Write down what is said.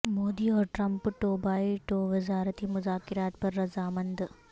مودی اور Trump two by two وزارتی مذاکرات پر رضامند